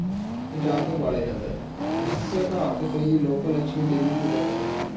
ਸਜਾ ਕੇ ਬਾਲਿਆ ਜਾਂਦਾ ਹੈ, ਇਸ ਰਾਤ ਕਈ ਲੋਕ ਲੱਛਮੀ ਦੇਵੀ ਦੀ ਪੂਜਾ ਕਰਦੇ ਹਨ।